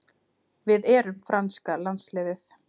Við erum franska landsliðið.